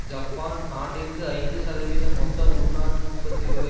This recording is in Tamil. ஜப்பான் ஆண்டிற்கு ஐந்து சதவீத மொத்த உள்நாட்டு உற்பத்தி வரை